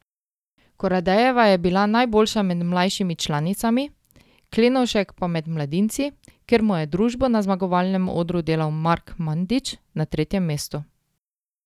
Koradejeva je bila najboljša med mlajšimi članicami, Klenovšek pa med mladinci, kjer mu je družbo na zmagovalnem odru delal Mark Mandič na tretjem mestu.